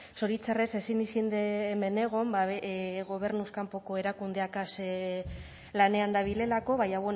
zoritxarrez ezin izen de hemen egon ba gobernuz kanpoko erakundeakaz lanean dabilelako baina